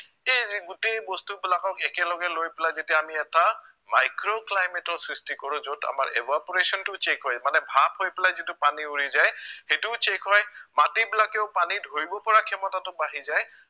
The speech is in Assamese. সেই যি গোটেই বস্তুবিলাকক একেলগে লৈ পেলাই যেতিয়া আমি এটা micro climate ৰ সৃষ্টি কৰো য'ত আমাৰ evaporation টো check হয় মানে ভাপ হৈ পেলাই যিটো পানী উৰি যায় সেইটোও check হয় মাটিবিলাকেও পানী ধৰিব পৰা ক্ষমতাটো বাঢ়ি যায়